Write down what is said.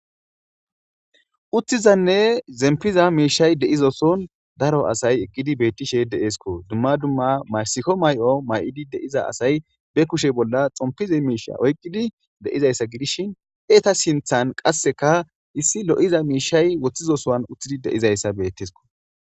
uttizanne zempiza miishay deizoson daro asay eqqidi beettishe deeesko dumma dumma maysiko may7o may7idi de7iza asay be kushe bolla xompize miisha oyqqidi de7izayssa gidishin eta sinthan qasseka issi lo7iza miishay woththizo sowan uththidi deizayssa beettesko